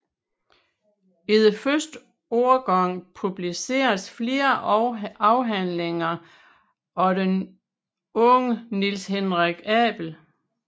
I den første årgang publiceredes flere afhandlinger af den unge Niels Henrik Abel